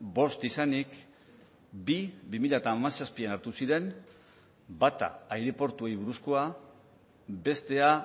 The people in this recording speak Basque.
bost izanik bi bi mila hamazazpian hartu ziren bata aireportuei buruzkoa bestea